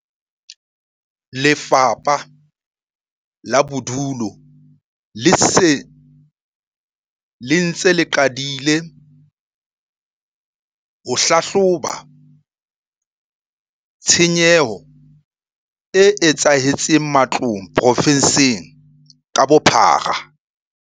Lefapha la Bodulo le se le ntse le qadile ho hlahloba tshenyo e etsahetseng matlong provenseng ka bophara.